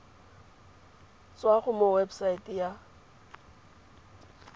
tswa mo go website ya